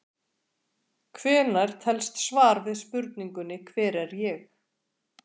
Hvenær telst svar við spurningunni Hver er ég?